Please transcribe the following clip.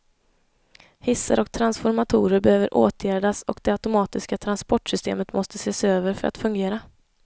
Hissar och transformatorer behöver åtgärdas och det automatiska transportsystemet måste ses över för att fungera.